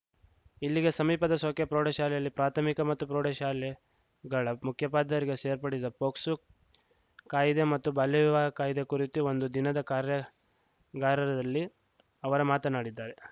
ಇಲ್ಲಿಗೆ ಸಮೀಪದ ಸೊಕ್ಕೆ ಪ್ರೌಢಶಾಲೆಯಲ್ಲಿ ಪ್ರಾಥಮಿಕ ಮತ್ತು ಪ್ರೌಢ ಶಾಲೆಗಳ ಮುಖ್ಯೋಪಾಧ್ಯಾಯರಿಗೆ ಸೇರ್ಪಡಿಸಿದ್ದ ಪೊಕ್ಸೋ ಕಾಯಿದೆ ಮತ್ತು ಬಾಲ್ಯ ವಿವಾಹ ಕಾಯಿದೆ ಕುರಿತು ಒಂದು ದಿನದ ಕಾರ್ಯಾಗಾರರಲ್ಲಿ ಅವರು ಮಾತನಾಡಿದ್ದಾರೆ